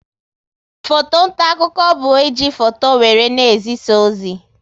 Foto nta akụkọ bụ e ji foto wéré na-ezisa ozi